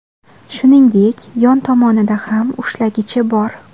Shuningdek, yon tomonida ham ushlagichi bor.